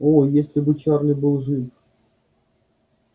о если бы чарли был жив